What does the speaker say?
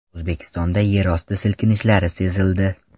O‘zbekistonda yerosti silkinishlari sezildi.